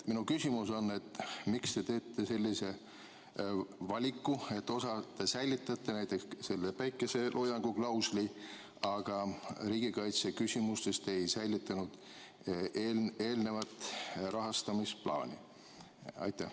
Minu küsimus on, miks te teete sellise valiku, et osalt säilitate, näiteks päikeseloojangu klausli, aga riigikaitse küsimustes te eelnevat rahastamisplaani ei säilitanud.